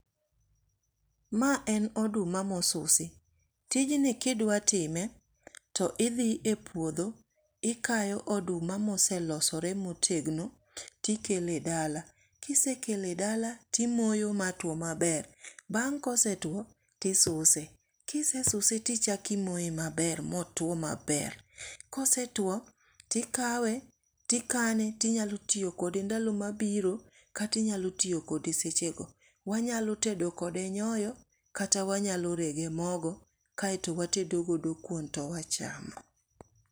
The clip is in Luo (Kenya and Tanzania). Ma en oduma mosusi. Tij ni kidwa time, to idhi e puodho, ikayo oduma moselosore motegno, tikele dala. Kisekele e dala timoyo matwo maber. Bang kosetuo, tisuse. kisesuse tichaki imoye maber motwo maber. Kosetuo, tikawe, tikane tinyalo tiyo kode ndalo mabiro kata inyalo tiyo kode seche go. Wanyalo tedo kode nyoyo kata wanyalo rege mogo, kaeto watedo godo kuon to wachamo.